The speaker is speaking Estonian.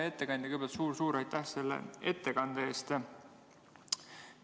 Hea ettekandja, kõigepealt suur-suur aitäh selle ettekande eest!